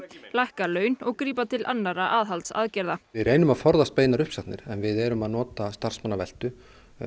lækka laun og grípa til annarra aðhaldsaðgerða við erum að forðast beinar uppsagnir við erum að nota starfsmannaveltu